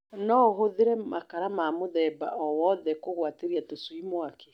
No ũhũthĩre makara ma mũtgemba o wothe kũgwatĩrĩa tũcui mwaki.